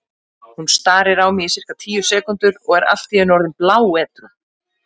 Hún starir á mig í sirka tíu sekúndur og er allt í einu orðin bláedrú.